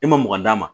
E ma mɔgɔn d'a ma